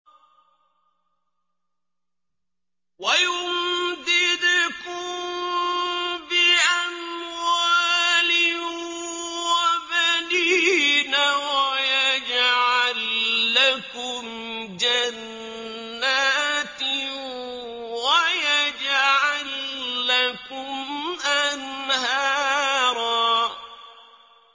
وَيُمْدِدْكُم بِأَمْوَالٍ وَبَنِينَ وَيَجْعَل لَّكُمْ جَنَّاتٍ وَيَجْعَل لَّكُمْ أَنْهَارًا